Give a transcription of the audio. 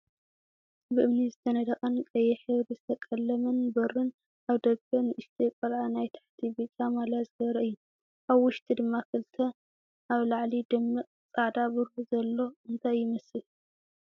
ብእምኒ ዝተነደቀን ቀይሕ ሕብሪ ዘተቀለመን በሩን ኣብ ደገ ንእሽተይ ቆልዓ ናይ ታሕቲ ብጫ ማልያ ዝገበረ እዩ። ኣብ ውሽጢ ድማ ክልተ ኣብ ላዕሊ ደሚቅ ፃዕዳ ብሩህ ዘሎ እንታይ እዩ?